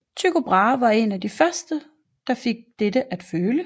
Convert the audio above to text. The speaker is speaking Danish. Tycho Brahe var en af de første der fik dette at føle